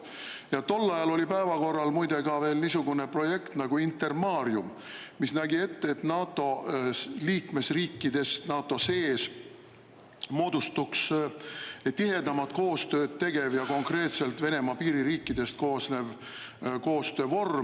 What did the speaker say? Ja tol ajal oli päevakorral muide ka niisugune projekt nagu Intermarium, mis nägi ette, et NATO liikmesriikidest moodustuks NATO sees tihedamat koostööd tegev ja konkreetselt Venemaa piiririikidest koosnev koostöövorm.